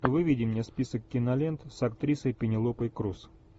выведи мне список кинолент с актрисой пенелопой круз